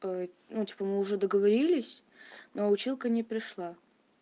ну типа мы уже договорились но училка не пришла